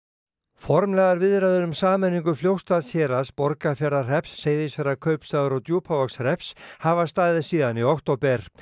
formlegar viðræður um sameiningu Fljótsdalshéraðs Borgarfjarðarhrepps Seyðisfjarðarkaupstaðar og Djúpavogshrepps hafa staðið síðan í október